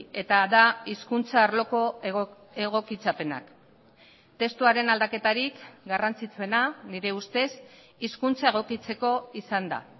eta da hizkuntza arloko egokitzapenak testuaren aldaketarik garrantzitsuena nire ustez hizkuntza egokitzeko izan da